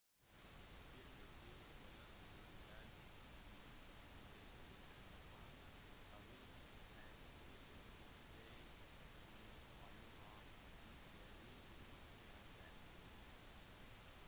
spillutgiver konami uttalte i dag til en japansk avis at spillet six days in fallujah ikke vil bli lansert